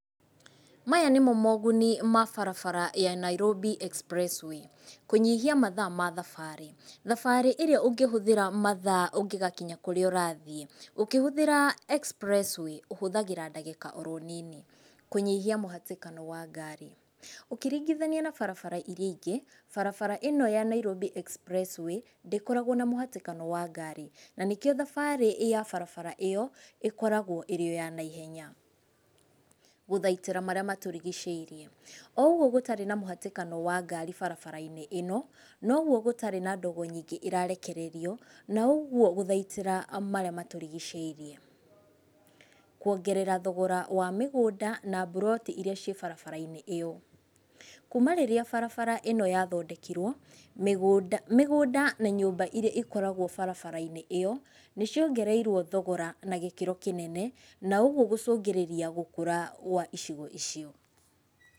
Maya nĩmo mũgũni ma barabara ya Nairobi Expressway, kũnyĩhia mathaa ma thabarĩ. Thabarĩ ĩrĩa ũngĩhũthĩra mathaa ũngĩgakinya kũrĩa ũrathĩĩ. Ũngĩhũthira expressway ũhũthagĩra ndagĩka oro nini. Kũnyihia muhatĩkano wa ngari. Ũkĩringithania na barabara iria ĩngĩ barabara ĩno ya Nairobi Expressway ndĩkoragwo na mũhatĩkano wa ngari, na nĩkĩo thabarĩ ya barabara ĩyo ĩkoragwo ĩrĩ o ya haihenya . Gũthaitĩra marĩa matũrigicĩirie . O ũgũo gũtarĩ na mũhatikano wa ngari barabara-inĩ ĩno nogwo gũtarĩ na ndogo nyĩngĩ ĩtararekererio na ũgũo gũthaitĩra marĩa matũrigicĩirie . Kwongerera thogora wa mĩgũnda na mburoti ĩrĩa ciĩ barabara-inĩ ĩyo. Kũma rĩrĩa barabara ĩno yathondekirwo mĩgũnda na nyũmba iria ikoragwo barabara-inĩ ĩyo , nĩ ciongereirwo thogora na gĩkĩro kĩnene na ũgũo gũcũngĩrĩria gũkũra kwa icigo icio.